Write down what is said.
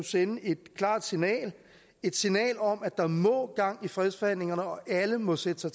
sende et klart signal et signal om at der må gang i fredsforhandlingerne og at alle må sætte sig